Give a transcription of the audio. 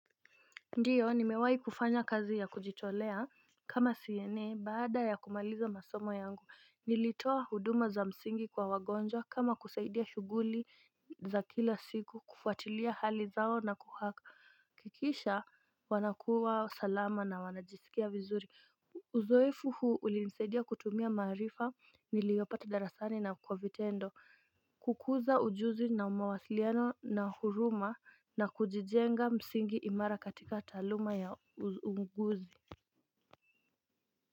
Ndiyo nimewai kufanya kazi ya kujitolea kama CNA baada ya kumaliza masomo yangu niulitoa huduma za msingi kwa waginjwa kama kusaidia shuguli za kila siku kufuatilia hali zao na kuhakikisha wakuwa salama na vizuri. Uzoefu huu ulinsedia kutumia marifa niliyopata darasani na kwa vitendo kukuza ujuzi na umawasiliano na huruma na kujijenga msingi imara katika taaluma ya unguzi.